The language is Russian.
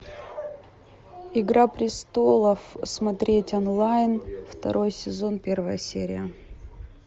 игра престолов смотреть онлайн второй сезон первая серия